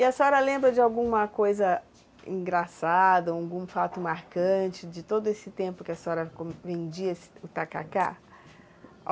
E a senhora lembra de alguma coisa engraçada, algum fato marcante de todo esse tempo que a senhora vendia o tacacá?